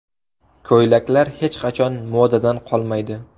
Ko‘ylaklar hech qachon modadan qolmaydi.